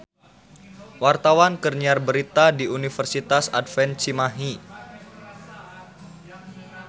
Wartawan keur nyiar berita di Universitas Advent Cimahi